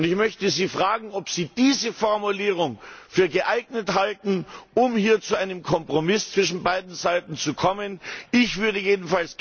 Ich möchte Sie fragen, ob Sie diese Formulierung für geeignet halten, um hier zu einem Kompromiss zwischen beiden Seiten zu kommen. Ich würde jedenfalls gerne diese Formulierung